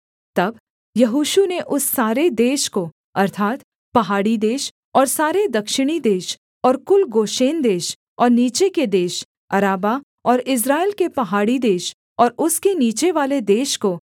तब यहोशू ने उस सारे देश को अर्थात् पहाड़ी देश और सारे दक्षिणी देश और कुल गोशेन देश और नीचे के देश अराबा और इस्राएल के पहाड़ी देश और उसके नीचेवाले देश को